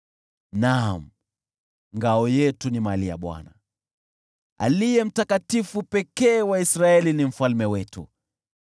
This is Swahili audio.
Naam, ngao yetu ni mali ya Bwana , na mfalme wetu mali ya Aliye Mtakatifu wa Israeli.